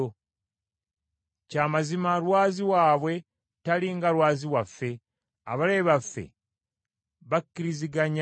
Kya mazima lwazi waabwe tali nga Lwazi waffe, abalabe baffe bakiriziganya naffe.